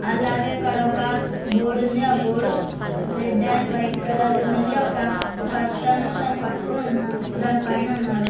అలాగే ఇక్కడొక బోడుంది ఆ board red and white colour లో ఉంది ఒక ఒక అతను దాని పట్టుకొని ఉన్నా దానిపైన ఉన్నాడు.